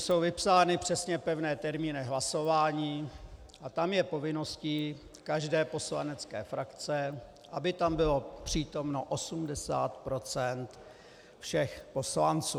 Jsou vypsány přesně pevné termíny hlasování a tam je povinností každé poslanecké frakce, aby tam bylo přítomno 80 % všech poslanců.